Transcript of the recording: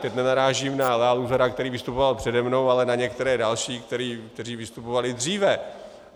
Teď nenarážím na Lea Luzara, který vystupoval přede mnou, ale na některé další, kteří diskutovali dříve.